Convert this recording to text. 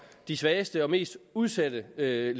de svageste og mest udsatte ledige